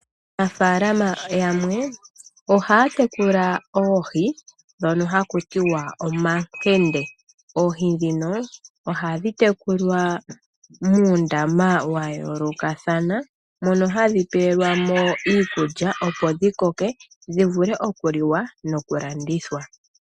Aanafalama yamwe ohaya tekula oohi ndhono ha kutiwa omakende. Ohadhi tekulilwa muundama wa yoolokathana mono hadhi pewelwamo iikulya dhi vule oku koka nokulandithwa.